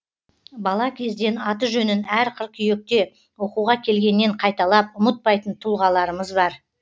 бала кезден аты жөнін әр қыркүйекте оқуға келгеннен қайталап ұмытпайтын тұлғаларымыз бар